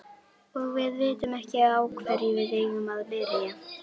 Og við vitum ekki á hverju við eigum að byrja.